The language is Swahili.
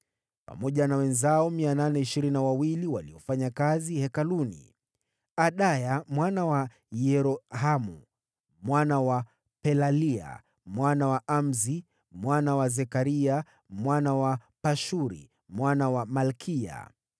pamoja na wenzao waliofanya kazi hekaluni: watu 822. Adaya mwana wa Yerohamu, mwana wa Pelalia, mwana wa Amsi, mwana wa Zekaria, mwana wa Pashuri, mwana wa Malkiya,